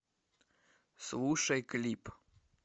слушай клип